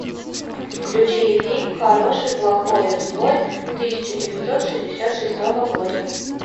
включи фильм хороший плохой злой тысяча девятьсот шестьдесят шестого года